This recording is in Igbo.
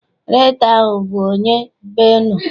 Rektọ ahụ abụ onye be unu?